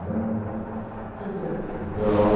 né quem foi esse professor? Então